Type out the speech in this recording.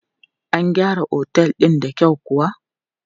An gyara Otel din da kyau kuwa?